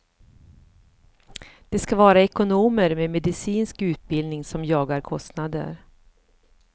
Det ska vara ekonomer med medicinsk utbildning som jagar kostnader.